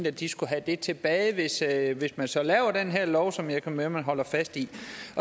at de skulle have det tilbage hvis man så laver den her lov som jeg kan høre man holder fast i